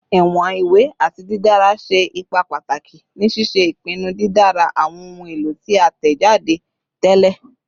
Iwọn iwe ati didara ṣe ipa pataki ni ṣiṣe ipinnu didara awọn ohun elo ti a tẹjade tẹlẹ